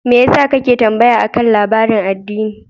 Me yasa kake tambaya akan labarin addini?